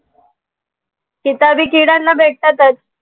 किताबी किड्यांना भेटतातंच.